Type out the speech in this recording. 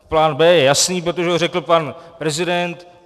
Plán B je jasný, protože ho řekl pan prezident.